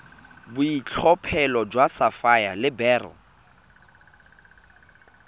boitlhophelo jwa sapphire le beryl